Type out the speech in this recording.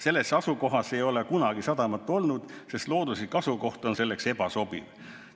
Selles asukohas ei ole kunagi sadamat olnud, sest looduslik asukoht on selleks ebasobiv.